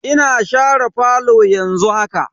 Ina share falo yanzu haka.